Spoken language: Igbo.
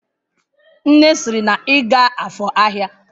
Nne siri na iga afor ahia!